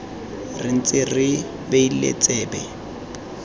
re ntse re beile tsebe